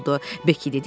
Beki dedi ki,